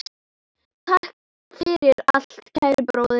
Takk fyrir allt, kæri bróðir.